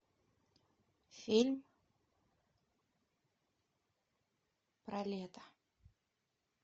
фильм про лето